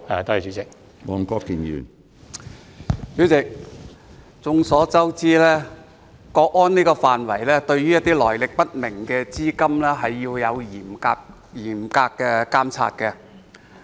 主席，眾所周知，為維護國家安全，須對來歷不明的資金進行嚴密監察。